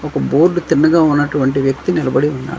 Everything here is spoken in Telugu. ఒక బోర్డ్ తిన్నగా ఉన్నటువంటి వ్యక్తి నిలబడి ఉన్నాడు.